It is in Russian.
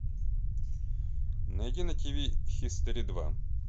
найди на тиви хистори два